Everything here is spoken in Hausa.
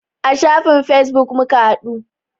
A shafin fesbuk muka haɗu.